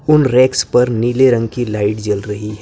उन रैक्स पर नीले रंग की लाइट जल रही है।